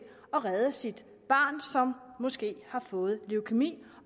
at redde sit barn som måske har fået leukæmi